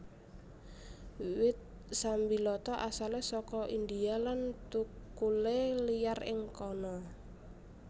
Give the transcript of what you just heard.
Wit sambiloto asalé saka India lan thukulé liyar ing kana